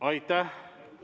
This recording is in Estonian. Aitäh!